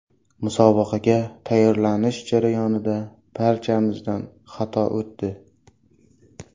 Musobaqaga tayyorlanish jarayonida barchamizdan xato o‘tdi.